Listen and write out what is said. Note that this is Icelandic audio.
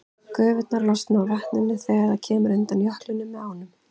Gufurnar losna úr vatninu þegar það kemur undan jöklinum með ánum.